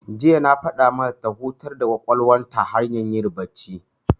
Jiya na faɗa mata ta hutar da ƙwaƙwalwar ta hanyar yin bacci.